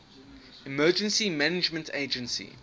emergency management agency